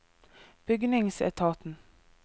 bygningsetaten